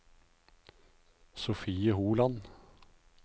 Sofie Holand